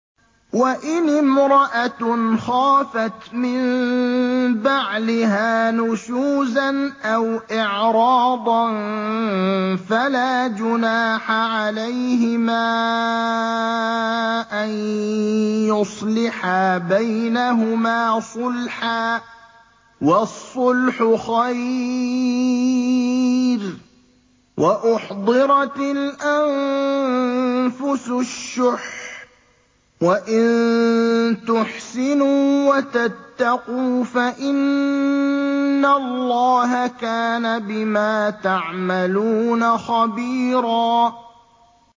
وَإِنِ امْرَأَةٌ خَافَتْ مِن بَعْلِهَا نُشُوزًا أَوْ إِعْرَاضًا فَلَا جُنَاحَ عَلَيْهِمَا أَن يُصْلِحَا بَيْنَهُمَا صُلْحًا ۚ وَالصُّلْحُ خَيْرٌ ۗ وَأُحْضِرَتِ الْأَنفُسُ الشُّحَّ ۚ وَإِن تُحْسِنُوا وَتَتَّقُوا فَإِنَّ اللَّهَ كَانَ بِمَا تَعْمَلُونَ خَبِيرًا